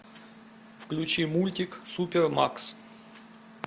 включи мультик супер макс